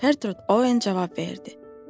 Gertrude Oen cavab verdi.